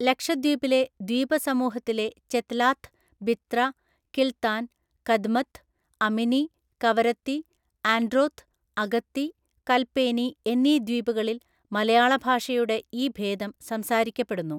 ലക്ഷദ്വീപിലെ ദ്വീപസമൂഹത്തിലെ ചെത്ലാത്ത്, ബിത്ര, കിൽത്താൻ, കദ്മത്ത്, അമിനി, കവരത്തി, ആൻഡ്രോത്ത്, അഗത്തി, കൽപേനി എന്നീ ദ്വീപുകളിൽ മലയാള ഭാഷയുടെ ഈ ഭേദം സംസാരിക്കപ്പെടുന്നു.